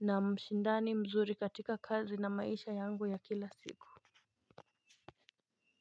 na mshindani mzuri katika kazi na maisha yangu ya kila siku.